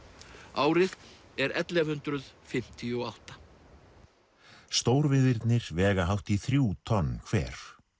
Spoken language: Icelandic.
árið er ellefu hundruð fimmtíu og átta vega hátt í þrjú tonn hver